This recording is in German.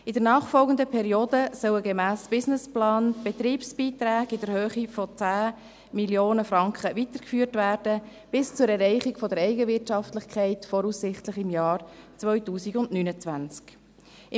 In der nachfolgenden Periode sollen gemäss Businessplan die Betriebsbeiträge in der Höhe von 10 Mio. Franken bis zur Erreichung der Eigenwirtschaftlichkeit, voraussichtlich im Jahr 2029, weitergeführt werden.